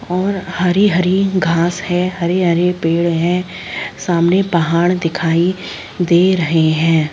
और हरी-हरी घास है हरी-हरी पेड़ है सामने पहाड़ दिखाई दे रहे है।